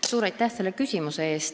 Suur aitäh selle küsimuse eest!